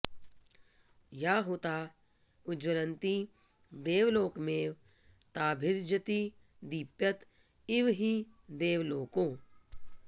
या हुता उज्ज्वलन्ति देवलोकमेव ताभिर्जयति दीप्यत इव हि देवलोको